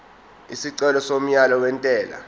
isicelo somyalo wentela